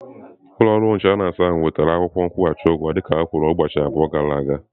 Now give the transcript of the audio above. Ụlọ ọrụ inshọransị ahụ wetara akwụkwọ nkwụghachi ụgwọ dịka ha kwuru ụbọchị abụọ gara aga?